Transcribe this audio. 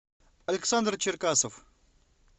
александр черкасов